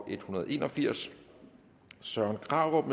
en hundrede og en og firs søren krarup